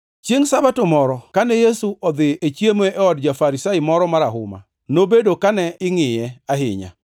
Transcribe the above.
Chiengʼ Sabato moro, kane Yesu odhi chiemo e od ja-Farisai moro marahuma, nobedo kane ingʼiye ahinya.